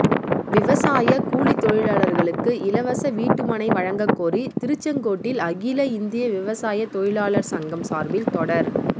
விவசாயக் கூலித் தொழிலாளர்களுக்கு இலவச வீட்டுமனை வழங்கக்கோரி திருச்செங்கோட்டில் அகில இந்திய விவசாய தொழிலாளர் சங்கம் சார்பில் தொடர்